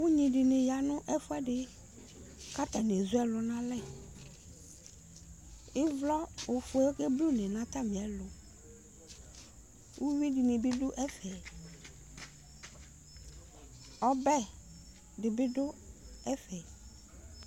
ʊnŋɩɗɩnɩ aƴanʊ ɛƒʊɛɗɩ ƙatanɩezʊ ɛlʊnalɛ ɩʋlɔ oƒʊele oƙeɓlʊne nʊ atmɩɛlʊ ʊƴʊɩɗɩnɩɓɩɗʊ ɛƒɛ ɔɓɛɗɩɓɩ ɗʊ ɛƒɛ